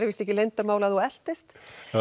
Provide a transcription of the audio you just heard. víst leyndarmál að þú eltist